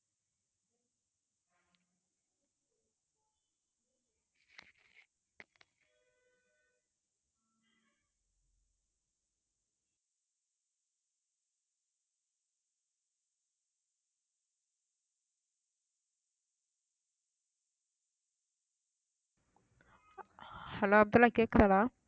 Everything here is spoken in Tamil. hello அப்துல்லாஹ் கேக்குதாடா